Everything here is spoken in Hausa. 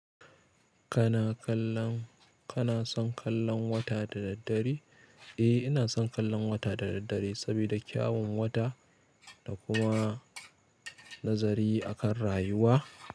Kana kallan, kana son kallan wata da daddare? Eh ina son kallon wata da daddare sabida kyawon wata da kuma nazari akan rayuwa.